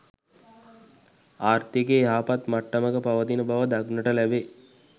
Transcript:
ආර්ථිකය යහපත් මට්ටමක පවතින බව දක්නට ලැබේ.